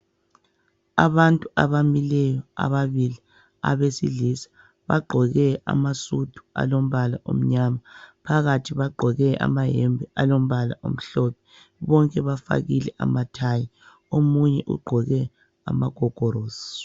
Abantu abamileyo abesilisa bagqoke amasudu alombala omnyama phakathi bagqoke amayembe alombala omhlophe bonke bafakile ontanjana omunye ugqoke amagogolosi.